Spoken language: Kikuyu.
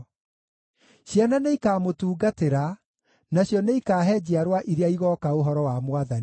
Ciana nĩikamũtungatĩra; nacio nĩikaahe njiarwa iria igooka ũhoro wa Mwathani.